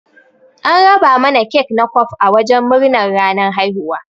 An raba mana kek na kwaf a wajen murnar ranan haihuwa.